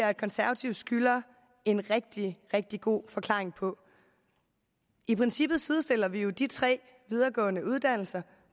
og konservative skylder en rigtig rigtig god forklaring på i princippet sidestiller vi jo de tre videregående uddannelser